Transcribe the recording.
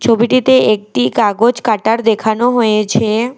ছবিটিতে একটি কাগজ কাটার দেখানো হয়েছে।